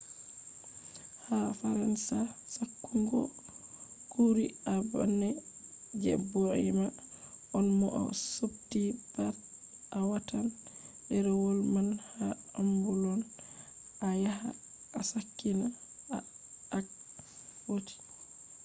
ha faransa ,sakkungoo kurii a bane je boima on mo a subtii pat a watan derewol man ha ambulon a yaha a sakkina ha akwoti